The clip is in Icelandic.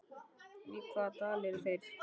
Í hvaða dal eru þeir?